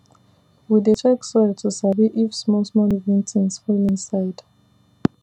we dey check soil to sabi if smallsmall living things full inside